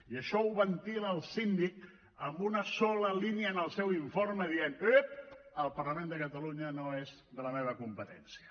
i això ho ventila el síndic amb una sola línia en el seu informe dient ep el parlament de catalunya no és de la meva competència